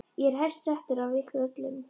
Ég er hæst settur af ykkur öllum!